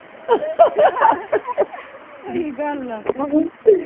ਸਹੀ ਗੱਲ ਆ।